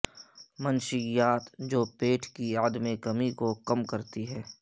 منشیات جو پیٹ کی عدم کمی کو کم کرتی ہے